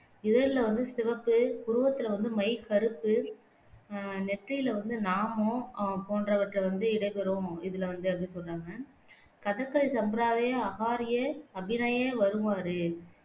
இதழில வந்து சிவப்பு புருவத்தில வந்து மைக்கறுப்பு ஆஹ் நெற்றியில வந்து நாமம் ஆஹ் போன்றவற்றை வந்து இடம்பெறும் இதுல வந்து அப்படி சொல்றாங்க கதக்களி சம்பிரதாய அஹார்ய அபிநய வருமாறு